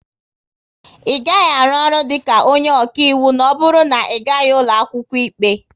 Ị gaghị arụ ọrụ dịka onye ọkaiwu na ọ bụrụ na Ị gaghị ụlọ akwụkwọ ikpe